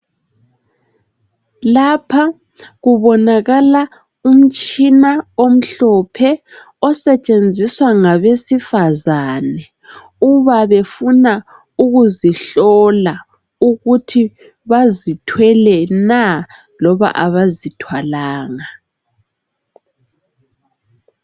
Lapha kubonakala umtshina omhlophe osetshenziswa ngabesifazane uba befuna ukuzihlola ukuthi bazithwele na loba abazithwalanga.